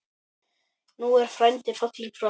Nú er frændi fallinn frá.